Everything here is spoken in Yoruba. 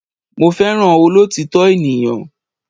Mo fẹ́ràn olọ́òtítọ́ ènìyàn.